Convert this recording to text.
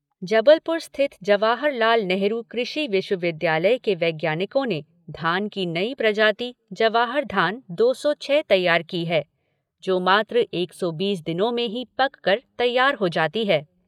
जबलपुर स्थित जवाहरलाल नेहरू कृषि विश्वविद्यालय के वैज्ञानिकों ने धान की नई प्रजाति जवाहर धान दो सौ छः तैयार की है, जो मात्र एक सौ बीस दिनों में ही पक कर तैयार हो जाती है।